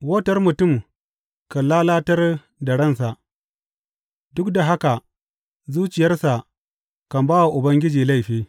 Wautar mutum kan lalatar da ransa, duk da haka zuciyarsa kan ba wa Ubangiji laifi.